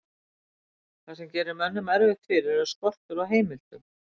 það sem gerir mönnum erfitt fyrir er skortur á heimildum